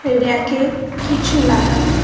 এ rack -এ কিছু লাগা।